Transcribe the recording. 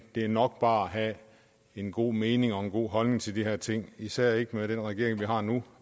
det er nok bare at have en god mening og en god holdning til de her ting især ikke med den regering vi har nu